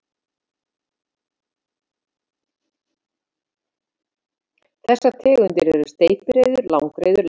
Þessar tegundir eru steypireyður, sandreyður, langreyður og Íslandssléttbakur.